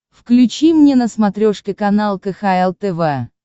включи мне на смотрешке канал кхл тв